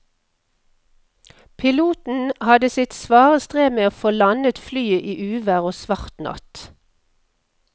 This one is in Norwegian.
Piloten hadde sitt svare strev med å få landet flyet i uvær og svart natt.